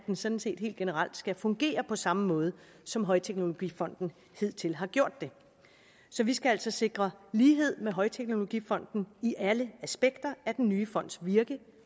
men sådan set helt generelt skal fungere på samme måde som højteknologifonden hidtil har gjort så vi skal altså sikre lighed med højteknologifonden i alle aspekter af den nye fonds virke